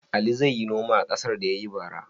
Ali zai yi noma a ƙasar da ya yi bara?